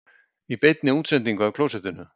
Í beinni útsendingu af klósettinu